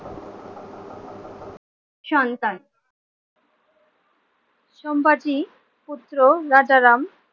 সন্তান সম্বতি পুত্র রাজারাম